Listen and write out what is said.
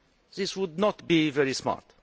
That would not be very smart.